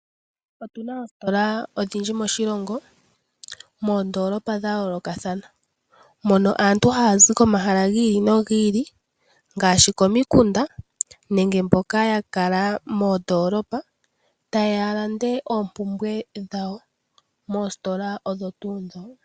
Otu na oositola odhindji moshilongo moondoolopa dha yoolokathana. Mono aantu haya zi komahala gi ili nogi ili ngaashi komikunda nenge mboka ya kala moondoolpa taye ya ya lande oompumbwe dhawo moositola odho tuu ndhoka.